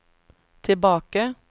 tilbake